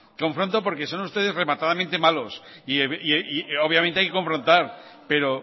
confronto porque son ustedes rematadamente malos y obviamente hay que confrontar pero